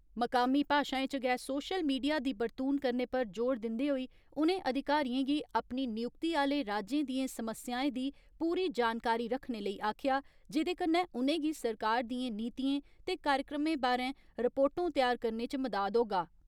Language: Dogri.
मकामी भाषाएं च गै सोशल मीडिया दी बरतून करने पर जोर दिंदे होई उनें अधिकारिएं गी अपनी नियुक्ति आले राज्यें दिएं समस्याएं दी पूरी जानकारी रक्खने लेई आक्खेआ, जेदे कन्नै उनेंगी सरकार दिएं नीतिएं ते कार्यक्रमें बारे रिपोर्टों तैआर करने च मदाद होगा।